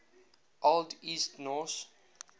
old east norse